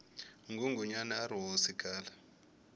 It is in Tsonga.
ngungunyana arihhosi khale